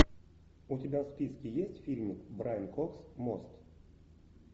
у тебя в списке есть фильм брайан кокс мост